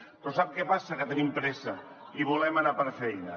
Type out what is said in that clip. però sap què passa que tenim pressa i volem anar per feina